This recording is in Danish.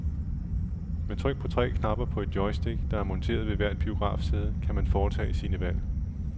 Med tryk på tre knapper på det joystick, der er monteret ved hvert biografsæde, kan man foretage sine valg.